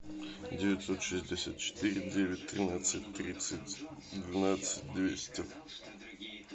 девятьсот шестьдесят четыре девять тринадцать тридцать двенадцать двести